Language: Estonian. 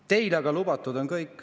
Teile aga on kõik lubatud.